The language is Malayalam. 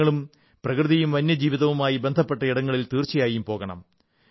നിങ്ങളും പ്രകൃതിയും വന്യജീവിതവുമായി ബന്ധപ്പെട്ട ഇടങ്ങളിൽ തീർച്ചയായും പോകണം